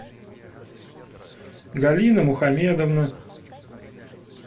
галина мухамедовна